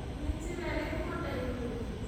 Nĩ njira irikũ ndaihu?